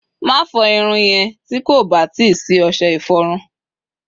mafo irun yen ti koba ti si ose iforun!